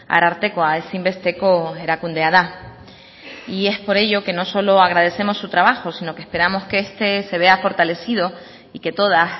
arartekoa ezinbesteko erakundea da y es por ello que no solo agradecemos su trabajo sino que esperamos que este se vea fortalecido y que todas